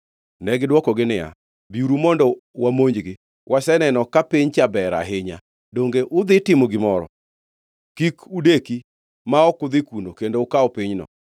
Negidwokogi niya, “Biuru mondo wamonjgi! Waseneno ka piny cha ber ahinya. Donge udhi timo gimoro? Kik udeki ma ok udhi kuno kendo ukaw pinyno.